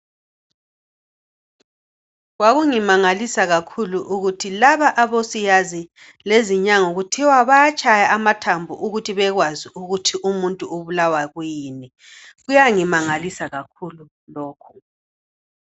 Kwakungimangalisa kakhulu ukuthi laba abosiyazi lezinyanga kuthiwa bayatshaya amathambo ukuthi bekwazi ukuthi umuntu ubulawa yikuyini. Kuyangimangalisa kakhulu lokho.